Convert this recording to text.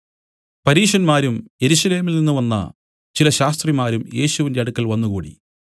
പരീശന്മാരും യെരൂശലേമിൽ നിന്നു വന്ന ചില ശാസ്ത്രിമാരും യേശുവിന്റെ അടുക്കൽ വന്നുകൂടി